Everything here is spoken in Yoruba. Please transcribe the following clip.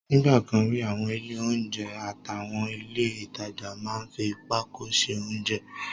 Nígbà kan rí, àwọn ilé oúnjẹ àtàwọn ilé ìtajà máa ń fi pákó ṣe oúnjẹ